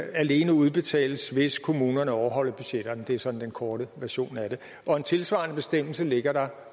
en alene udbetales hvis kommunerne overholder budgetterne det er sådan den korte version af det og en tilsvarende bestemmelse ligger der